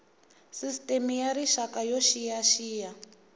sisteme ya rixaka yo xiyaxiya